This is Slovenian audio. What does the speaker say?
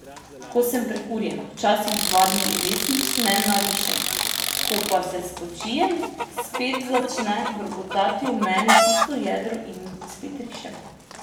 Ko sem prekurjena, včasih dva dni res nič ne narišem, ko pa se spočijem, spet začne brbotati v meni tisto jedro in spet rišem.